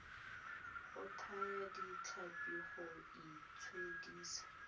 go thaya ditlhapi go itshedisa